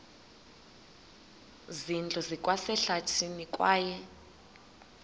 zindlu zikwasehlathini kwaye